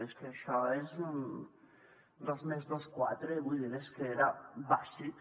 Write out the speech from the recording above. és que això és un dos més dos quatre vull dir és que era bàsic